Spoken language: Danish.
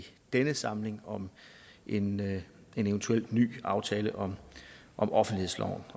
denne samling om en en eventuel ny aftale om offentlighedsloven